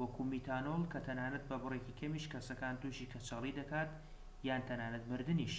وەکو میتانۆل کە تەنانەت بە بڕێکی کەمیش کەسەکان توشی کەچەڵی دەکات یان تەنانەت مردنیش